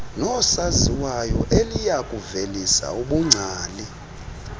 noosaziwayo eliyakuvelisa ubungcali